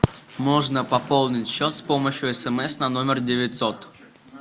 можно пополнить счет с помощью смс на номер девятьсот